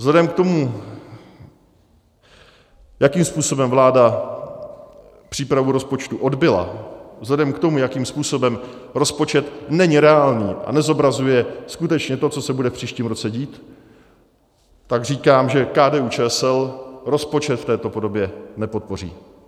Vzhledem k tomu, jakým způsobem vláda přípravu rozpočtu odbyla, vzhledem k tomu, jakým způsobem rozpočet není reálný a nezobrazuje skutečně to, co se bude v příštím roce dít, tak říkám, že KDU-ČSL rozpočet v této podobě nepodpoří.